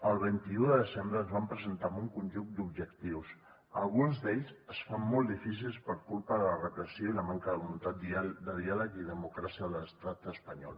el vint un de desembre ens van presentar amb un conjunt d’objectius alguns d’ells es fan molt difícils per culpa de la repressió i la manca de voluntat de diàleg i democràcia a l’estat espanyol